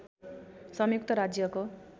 संयुक्त राज्यको